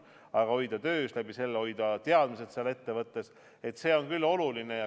Aga hoida töös ja selle kaudu hoida teadmised seal ettevõttes – see on küll oluline.